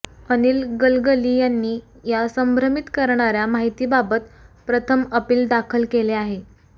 अनिल गलगली यांनी या संभ्रमित करणाऱ्या माहितीबाबत प्रथम अपील दाखल केले आहे